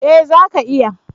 Eh zaka iya.